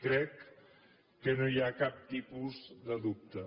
crec que no hi ha cap tipus de dubte